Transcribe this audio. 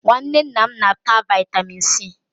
Nwanne nna m na-ata vaịtamịn C.